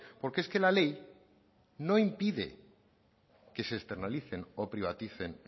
porque es que la ley no impide que se externalicen o privaticen